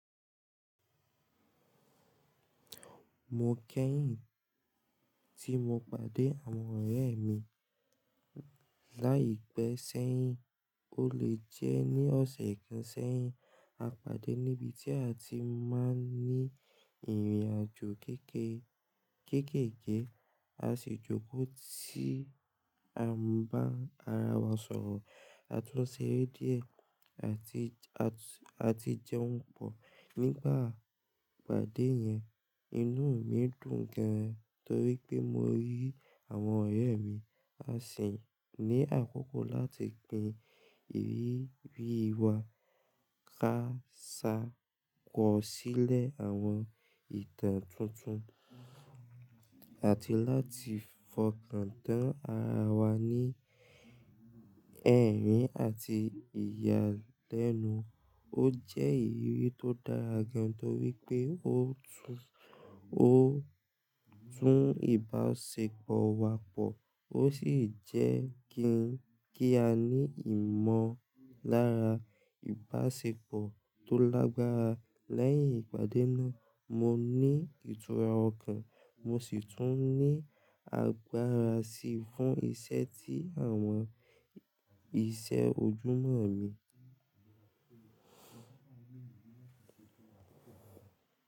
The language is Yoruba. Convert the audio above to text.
Mo kẹ́yìn tí mo pàdé àwọn ọ̀rẹ́ mi láìpẹ́ sẹ́yìn. Ó lè jẹ́ ní ọ̀sẹ̀ kan sẹ́yìn, a pàdé níbi tí a ti máa ń ní ìrìnàjò kéékèèké. A sì jókòó tí a ń bá ara wa sọ̀rọ̀, a tún ṣeré díẹ̀, a ti jẹun pọ̀. Nígbà ìpàdé yẹn, inú mi dùn gan-an torí pé mo rí àwọn ọ̀rẹ́ mi. A ṣì ní àkókò láti pin ìrírí wa, ká ṣàkọ̀sílẹ̀ àwọn ìtàn tuntun, àti láti fọkàntán ara wa ní ẹ̀rín àti ìyàlẹ́nu. Ó jẹ́ ìrírí tó dára gan-an torí pé ó tún ìbáṣepọ̀ wa pọ̀, ó sì jẹ́ kí a ní ìmọ̀lára ìbáṣepọ̀ tó lágbára. Lẹ́yìn ìpàdé náà, mo ní ìtura ọkàn, mo sì tún ní agbára sí i fún iṣẹ́ tí àwọn iṣẹ́ ojúmọ́ mi.